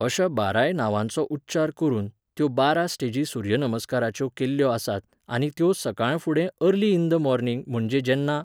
अश्या बाराय नांवांचो उच्चार करून, त्यो बारा स्टेजी सुर्य नमस्काराच्यो केल्ल्यो आसात, आनी त्यो सकाळफुडें अर्ली इन द मॉर्निंग, म्हणजे जेन्ना